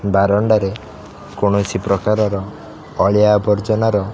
ବାରଣ୍ଡା ରେ କୋନଶି ପ୍ରକାରର ଅଳିଆ ଆର୍ବଜନା ର --